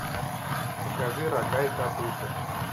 покажи рога и копыта